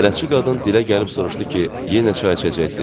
Bələdçi qadın dilə gəlib soruşdu ki, yenə çay içəcəksiz?